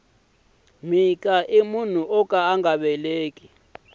mhika i munhu woka anga veleki